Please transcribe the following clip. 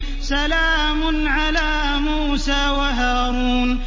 سَلَامٌ عَلَىٰ مُوسَىٰ وَهَارُونَ